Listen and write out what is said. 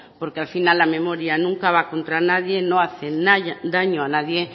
porque al final la memoria nunca va contra nadie no hace daño a nadie